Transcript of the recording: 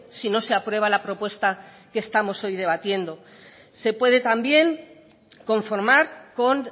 si no se aprueba la propuesta que estamos hoy debatiendo se puede también conformar con